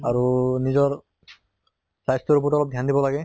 আৰু নিজৰ স্বাস্থ্য়ৰ প্ৰতি অলপ ধ্য়ান দিব লাগে